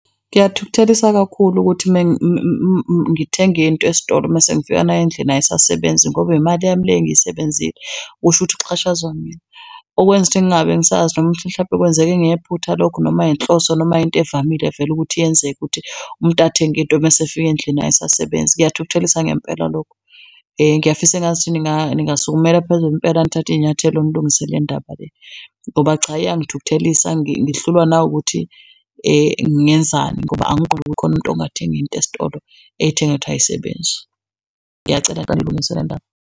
Kuyathukuthelisa kakhulu ukuthi mengithenga into esitolo mesengifika nayo endlini ayisasebenzi ngoba imali yami le engizisebenzile, kusho ukuthi kuxhashazwa mina. Okwenza ukuthi ngingabe ngisazi noma mhlampe kwenzeke ngephutha lokhu noma inhloso noma into evamile vele ukuthi yenzeke ukuthi umuntu athenge into mesefika endlini ayisasebenzi, kuyathukuthelisa ngempela lokho. Ngiyafisa engazuthi ningasukumela phezulu impela nithathe iy'nyathelo nilungise le ndaba le, ngoba cha, iyang'thukuthelisa ngihlulwa nawukuthi ngingenzani ngoba kukhona umuntu ongathenga into esitolo ey'thengele ukuthi ayisebenzi. Ngiyacela niyilungise le ndaba.